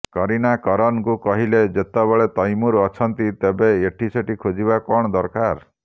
କରୀନା କରନଙ୍କୁ କହିଲେ ଯେତେବେଳେ ତୈମୁର ଅଛନ୍ତି ତେବେ ଏଠିସେଠି ଖୋଜିବା କଣ ଦରରକାର